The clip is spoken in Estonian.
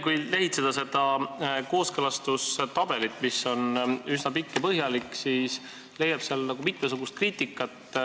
Kui lehitseda seda kooskõlastustabelit, mis on üsna pikk ja põhjalik, siis leiab sealt mitmesugust kriitikat.